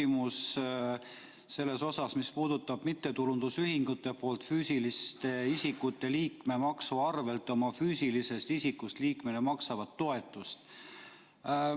Mul on küsimus, mis puudutab mittetulundusühingute poolt füüsiliste isikute liikmemaksu arvel oma füüsilisest isikust liikmetele makstavat toetust.